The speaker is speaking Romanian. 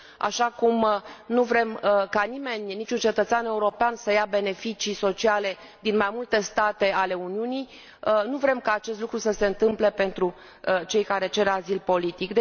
Așa cum nu vrem ca nimeni, niciun cetățean european, să ia beneficii sociale din mai multe state ale Uniunii, nu vrem ca acest lucru să se întâmple pentru cei care cer azil politic.